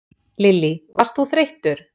Lillý: Varst þú þreyttur?